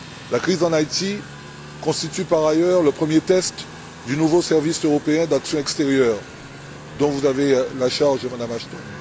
La crise en Haïti constitue par ailleurs le premier test du nouveau service européen d'action extérieure, dont vous avez la charge, Madame Ashton.